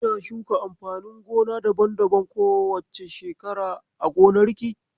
Kina shuka amfanin gona daban-daban ko wace shekara a gonarki?